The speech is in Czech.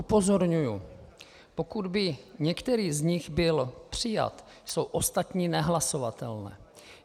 Upozorňuji, pokud by některý z nich byl přijat, jsou ostatní nehlasovatelné.